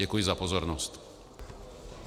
Děkuji za pozornost.